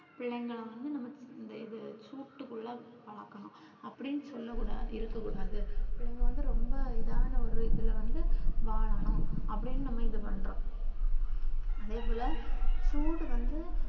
பிள்ளைங்கள வந்து நம்ம இந்த இது சூட்டுக்குள்ள வளக்கணும் அப்டின்னு சொல்ல கூடாது இருக்க கூடாது பிள்ளைங்க வந்து ரொம்ப இதனா ஒரு இதுல வந்து வாழனும் அப்டின்னு நம்ம இது பண்றோம் அதே போல சூடு வந்து